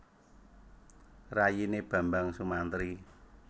Rayine Bambang Sumantri